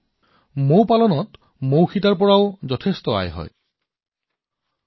বন্ধুসকল মৌ মৌমাখি কৃষিত কেৱল মৌৰ পৰাই উপাৰ্জন নহয় বৰঞ্চ মৌ মমো হৈছে উপাৰ্জনৰ এটা বিশাল মাধ্যম